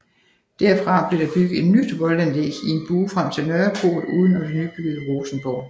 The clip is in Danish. Derfra blev der bygget et nyt voldanlæg i en bue frem til Nørreport uden om det nybyggede Rosenborg